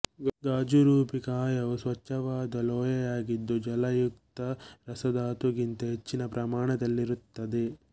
ಗಾಜುರೂಪಿ ಕಾಯವು ಸ್ವಚ್ಛವಾದ ಲೋಳೆಯಾಗಿದ್ದು ಜಲಯುಕ್ತ ರಸಧಾತುಗಿಂತ ಹೆಚ್ಚಿನ ಪ್ರಮಾಣದಲ್ಲಿರುತ್ತದೆ